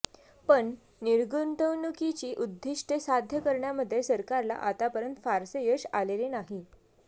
पण र्निगुतवणुकीची उद्दिष्टे साध्य करण्यामध्ये सरकारला आतापर्यंत फारसे यश आलेले नाही